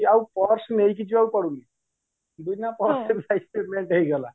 ଆଉ purse ନେଇକି ଯିବାକୁ ପଡୁନି ବିନା purse ରେ ହେଇଗଲା